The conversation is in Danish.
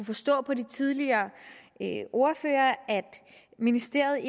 forstå på de tidligere ordførere at ministeriet